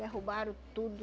Derrubaram tudo.